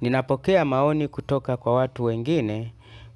Ninapokea maoni kutoka kwa watu wengine